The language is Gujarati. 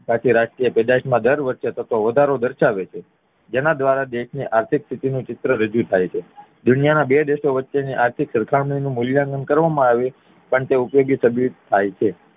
થી રાષ્ટ્રીય પેદાશ માં દર વર્ષે થતો વધારો દરસાવે છે જેના દ્વારા દેશનું આર્થિક સ્થિતિ નું ચિત્ર રજુ થાય છે દુનિયા ના બે દેશો વચ્ચે ની આર્થિક સરખામણી નું મૂલ્યાંકન કરવા માં આવે પણ તે ઉપયોગી સાબિત થાય છે